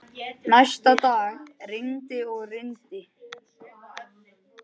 Næsta dag rigndi og rigndi.